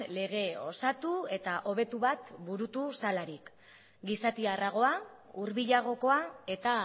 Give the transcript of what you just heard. lege osatu eta hobetu bat burutu zelarik gizatiarragoa hurbilagokoa eta